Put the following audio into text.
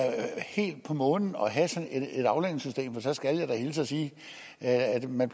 helt på månen at have sådan et aflønningssystem for så skal jeg da hilse og sige at man